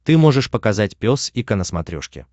ты можешь показать пес и ко на смотрешке